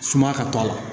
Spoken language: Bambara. Suma ka to a la